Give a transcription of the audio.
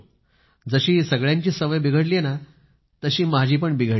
जशी सगळ्यांचीच सवय बिघडली आहे माझी पण बिघडली आहे